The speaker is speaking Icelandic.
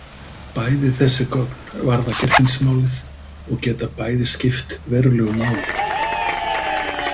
Bæði þessi gögn varða Geirfinnsmálið og geta bæði skipt verulegu máli.